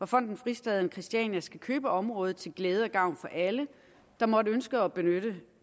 fonden fristaden christiania skal købe området til glæde og gavn for alle der måtte ønske at benytte